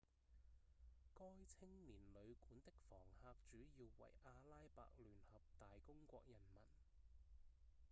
該青年旅館的房客主要為阿拉伯聯合大公國人民